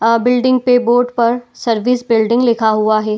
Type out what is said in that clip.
अ building पे board पर service building लिखा हुआ है।